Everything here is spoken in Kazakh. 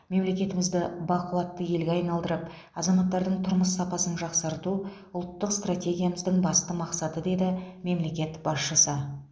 мемлекетімізді бақуатты елге айналдырып азаматтардың тұрмыс сапасын жақсарту ұлттық стратегиямыздың басты мақсаты деді мемлекет басшысы